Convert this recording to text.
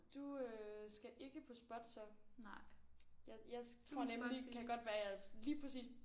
Du øh skal ikke på SPOT så. Jeg jeg tror nemlig kan godt være jeg lige præcis